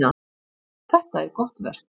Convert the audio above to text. Þetta er gott verk.